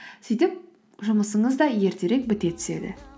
сөйтіп жұмысыңыз да ертерек біте түседі